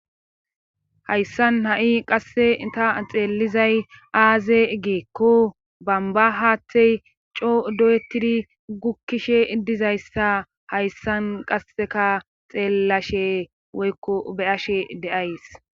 Hayssan ha7i qasse ita xeellizay aaze geekko bamba haaththey coo do7etidi gukkishe dizayssa hayssan qasseka xeellashe woykko beyashe deays